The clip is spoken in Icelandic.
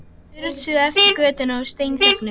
Þeir strunsuðu eftir götunni og steinþögðu.